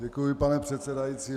Děkuji, pane předsedající.